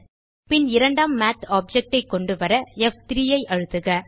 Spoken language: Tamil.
பின் இரண்டாம் மாத் ஆப்ஜெக்ட் ஐ கொண்டுவர ப்3 ஐ அழுத்துக